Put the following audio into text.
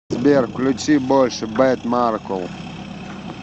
сбер включи больше бед маркул